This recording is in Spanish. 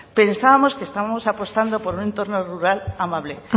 pensábamos que estábamos apostando por un entorno rural amable